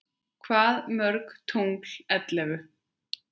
Hvað mörg tungl ellefu?